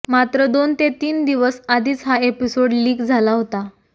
मात्र दोन ते तीन दिवस आधीच हा एपिसोड लीक झाला होता